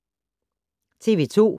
TV 2